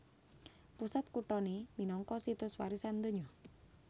Pusat kuthané minangka Situs Warisan Donya